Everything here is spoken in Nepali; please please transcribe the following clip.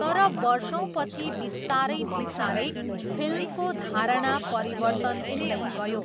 तर, वर्षौँपछि बिस्तारै बिस्तारै फिल्मको धारणा परिवर्तन हुँदै गयो।